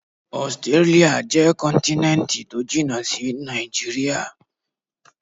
Ọsitírálíà jẹ́ kọ́ntínẹ́ntì tó jìnà sí Nàìjíríà.